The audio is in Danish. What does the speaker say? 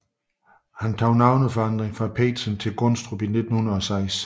Han tog navneforandring fra Pedersen til Gundstrup 1906